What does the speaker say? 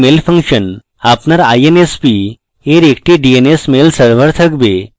আপনার insp your একটি dns mail server থাকবে